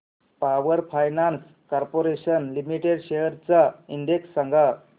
power finance corporation limited shares चा index सांगा